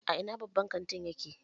A ina babban kantin yake?